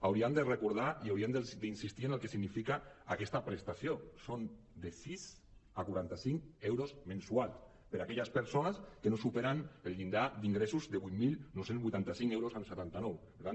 hauríem de recordar i hauríem d’in·sistir en el que significa aquesta prestació són de sis a quaranta·cinc euros mensuals per a aquelles persones que no superen el llindar d’ingressos de vuit mil nou cents i vuitanta cinc coma setanta nou euros